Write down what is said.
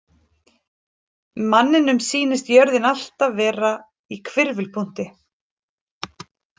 Manninum sýnist jörðin alltaf vera í hvirfilpunkti.